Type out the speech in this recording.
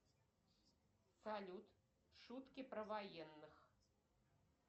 салют шутки про военных